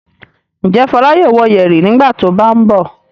Ǹjẹ́ Fọlá yóò wō yẹ̀rì nígbà tó bá ń bọ̀?